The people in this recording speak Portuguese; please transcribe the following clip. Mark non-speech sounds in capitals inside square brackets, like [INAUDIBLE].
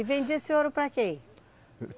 E vendia esse ouro para quem? [UNINTELLIGIBLE]